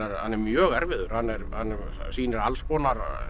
hann er mjög erfiður hann sýnir alls konar